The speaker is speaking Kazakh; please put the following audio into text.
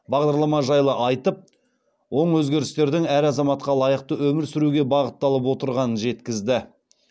бағдарлама жайлы айтып оң өзгерістердің әр азаматқа лайықты өмір сүруге бағытталып отырғанын жеткізді